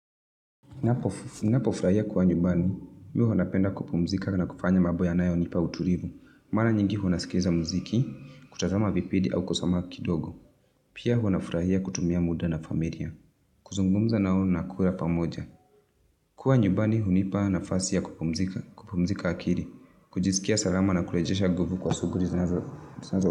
Ninapofurahia kuwa nyumbani, mimi huwa napenda kupumzika na kufanya mambo yanayonipa utulivu. Mara nyingi ninasikiza mziki, kutazama vipindi au kosoma kidogo. Pia huwa nafurahia kutumia muda na familia. Kuzungumza nao na kula pamoja. Kuwa nyubani hunipa nafasi ya kupumzika akili. Kujiskia salama na kurejesha nguvu kwa shuguli zinazo.